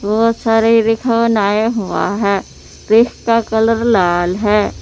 बहोत सारे हुआ है पीस का कलर लाल है।